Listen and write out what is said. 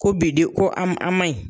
Ko bidenw ko an an ma ɲi.